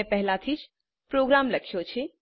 મેં પહેલાથી પ્રોગ્રામ લખ્યો છે